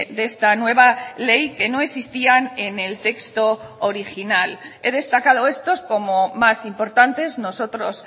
de esta nueva ley que no existían en el texto original he destacado estos como más importantes nosotros